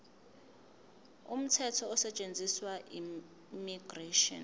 umthetho osetshenziswayo immigration